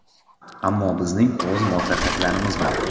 Ammo bizning o‘z muvaffaqiyatlarimiz bor.